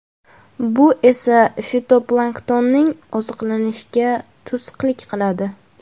Bu esa fitoplanktonning oziqlanishiga to‘sqinlik qiladi.